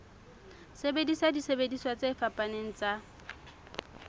sebedisa disebediswa tse fapaneng tsa